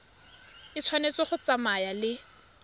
e tshwanetse go tsamaya le